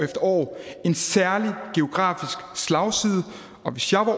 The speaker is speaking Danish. år en særlig geografisk slagside og hvis jeg var